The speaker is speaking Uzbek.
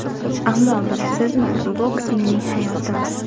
Ammo, bilasizmi, boks mening hayotim.